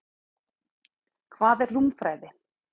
Hvað er rúmfræði?